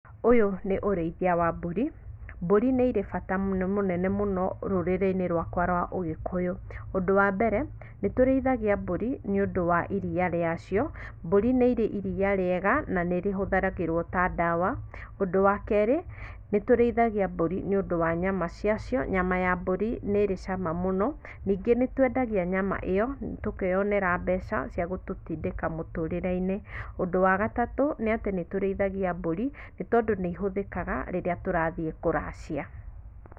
Ũyũ nĩ ũrĩithia wa mbũri, mbũri nĩ irĩ bata mũnene mũno rũrĩrĩ-inĩ rwakwa rwa ũgĩkũyũ. Ũndũ wa mbere, nĩtũrĩithagia mbũri nĩũndũ wa iria rĩacio, mbũri nĩ irĩ iria rĩega, na nĩ rĩ hũthagĩrwo ta dawa. Ũndũ wa kerĩ, nĩtũrĩithagia mbũri nĩũndũ wa nyama ciacio, nyama ya mbũri nĩrĩ cama mũno. Ningĩ nĩ twendagia nyama ĩyo, tũkeyonera mbeca, cia gũtũtindĩka mũtũrĩre-inĩ. Ũndũ wa gatatũ, nĩ atĩ nĩtũrĩithagia mbũri nĩ tondũ nĩihũthikaga rĩrĩa tũrathiĩ kũracia